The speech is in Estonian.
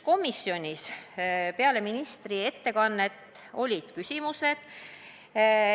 Komisjonis olid peale ministri ettekannet ka küsimused.